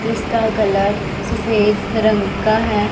जिसका कलर सफेद रंग का है।